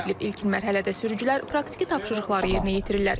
İlkin mərhələdə sürücülər praktiki tapşırıqları yerinə yetirirlər.